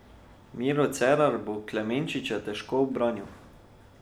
Miro Cerar bo Klemenčiča težko ubranil.